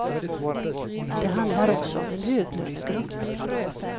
Det handlar också om en höglönegrupp.